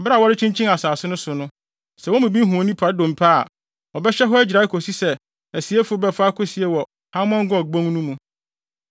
Bere a wɔrekyinkyin asase no so no, sɛ wɔn mu bi hu onipa dompe a, ɔbɛhyɛ hɔ agyirae akosi sɛ asieifo bɛfa akosie wɔ Hamon Gog bon no mu.